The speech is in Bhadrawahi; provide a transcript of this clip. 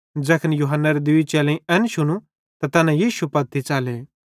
ज़ैखन यूहन्नारे दुइये चेलेईं एन शुनू त तैना यीशु पत्ती च़ले